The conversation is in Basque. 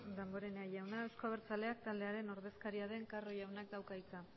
damborenea jauna euzko abertzaleak taldearen ordezkaria den carro jaunak dauka hitza